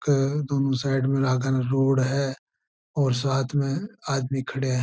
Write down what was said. के दोनों साइड में आगण रोड है और साथ में आदमी खड़े है।